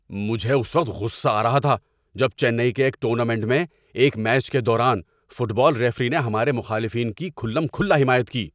مجھے اس وقت غصہ آ رہا تھا جب چنئی کے ایک ٹورنامنٹ میں ایک میچ کے دوران فٹ بال ریفری نے ہمارے مخالفین کی کھلم کھلا حمایت کی۔